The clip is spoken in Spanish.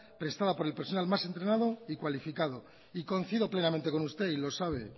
prestada por el personal más entrenado y cualificado y coincido plenamente con usted y lo sabe